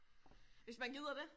Hvis man gider det